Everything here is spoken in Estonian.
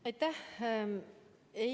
Aitäh!